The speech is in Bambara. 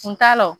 Kun t'a la